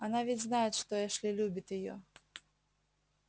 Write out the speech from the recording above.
она ведь знает что эшли любит её